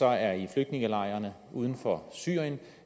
er i flygtningelejrene uden for syrien